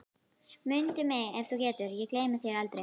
Mundu mig ef þú getur, ég gleymi þér aldrei